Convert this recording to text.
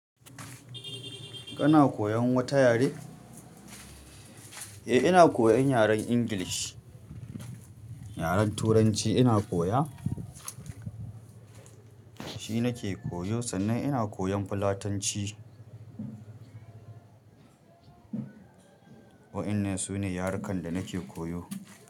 Kana koyan wata yare? Eh ina koyan yaren English. Yaren Turanci ina koya. Shi nake koyo sannan ina koyan Fulatanci. Wa'innan sune yarukan da nake koyo.